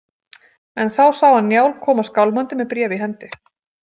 En þá sá hann Njál koma skálmandi með bréf í hendi.